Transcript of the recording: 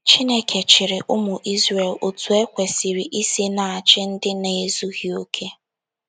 Chineke chịrị ụmụ Izrel otú e kwesịrị isi na - achị ndị na - ezughị okè.